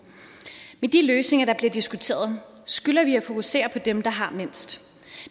med de løsninger der bliver diskuteret skylder vi at fokusere på dem der har mindst